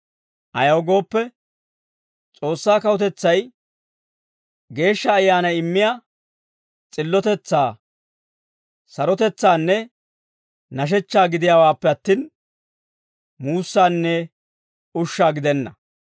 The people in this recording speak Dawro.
Ayaw gooppe, S'oossaa kawutetsay Geeshsha Ayyaanay immiyaa s'illotetsaa, sarotetsaanne nashechchaa gidiyaawaappe attin, muussaanne ushshaa gidenna.